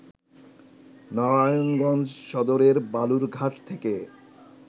নারায়ণগঞ্জ সদরের বালুর ঘাট থেকে